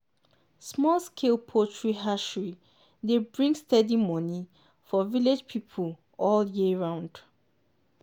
small-scale poultry hatchery dey bring steady money for village pipo all year round.